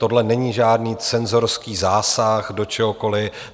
Tohle není žádný cenzorský zásah do čehokoliv.